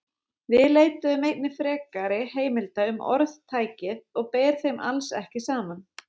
Við leituðum einnig frekari heimilda um orðtækið og ber þeim alls ekki saman.